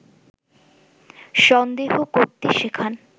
সন্দেহ করতে শেখান